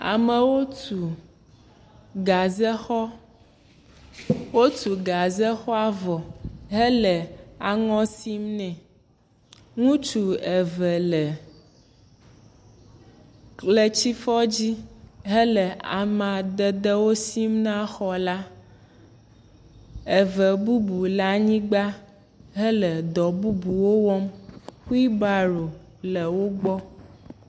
Amewo tu gazexɔ. Wotu gazexɔa vɔ hele aŋɔ sim nɛ. Ŋutsu eve le ʋletsi fɔ dzi hele amadedewo sim na xɔ la. Eve bubu le anyigba hele dɔ bubuwo wɔm. huilbaro le wogbɔ.